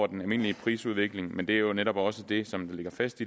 den almindelige prisudvikling men det er jo netop også det som ligger fast